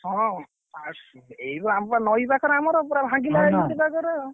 ହଁ ଆଉ ଏଇବା ନଇପାଖରେ ଆମର ପୁରା ଭାଙ୍ଗିଲା ହେ ନା ଏଇଠି ଜାଗାରେ।